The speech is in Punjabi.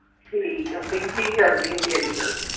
ਠੀਕ ਆ ਪਿੰਕੀ ਕੀ ਕਰਦੀ ਹੁੰਦੀ ਅੱਜਕਲ।